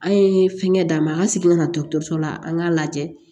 An ye fɛngɛ d'a ma an ka segin ka na dɔgɔtɔrɔso la an k'a lajɛ